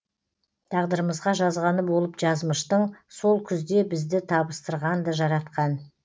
тағдырымызға жазғаны болып жазмыштың сол күзде бізді табыстырғанды жаратқан